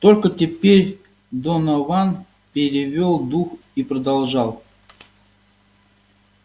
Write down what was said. только теперь донован перевёл дух и продолжал